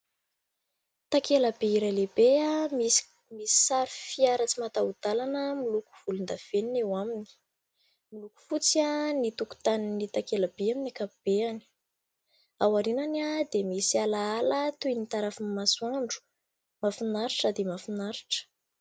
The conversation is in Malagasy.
Takela-by iray lehibe, misy sary fiara tsy mataho-dalana miloko volondavenona eo aminy. Miloko fotsy ny tokotanin'ny takela-by amin'ny ankapobeny. Aorianany dia misy alaala toy ny tarafin'ny masoandro, mahafinaritra dia mahafinaritra.